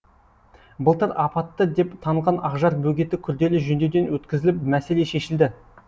былтыр апатты деп танылған ақжар бөгеті күрделі жөндеуден өткізіліп мәселе шешілді